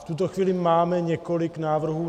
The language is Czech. V tuto chvíli máme několik návrhů.